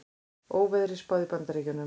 Óveðri spáð í Bandaríkjunum